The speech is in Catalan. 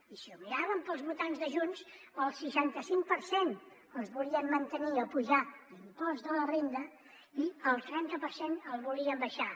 i si ho mirem per als votants de junts el seixanta cinc per cent volien mantenir o apujar l’impost de la renda i el trenta per cent el volien abaixar